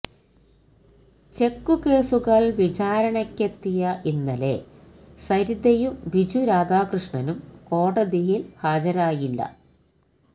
check കേസുകള് വിചാരണക്കെത്തിയ ഇന്നലെ സരിതയും ബിജു രാധാകൃഷ്ണനും കോടതിയില് ഹാജരായില്ല